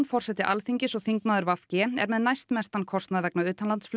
forseti Alþingis og þingmaður v g er með næstmestan kostnað vegna